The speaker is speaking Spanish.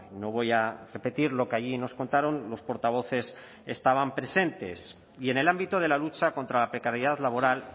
no voy a repetir lo que allí nos contaron los portavoces estaban presentes y en el ámbito de la lucha contra la precariedad laboral